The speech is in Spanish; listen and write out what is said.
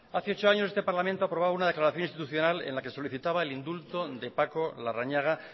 hace ocho años este parlamento aprobaba una declaración institucional en la que solicitaba el indulto de paco larrañaga